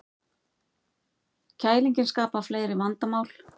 Kælingin skapar fleiri vandamál